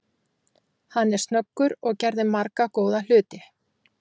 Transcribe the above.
Hann er snöggur og gerði marga góða hluti.